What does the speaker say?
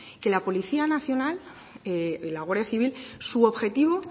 que la policía nacional y la guardia civil su objetivo